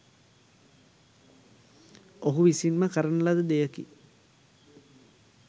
ඔහු විසින්ම කරන ලද දෙයකි.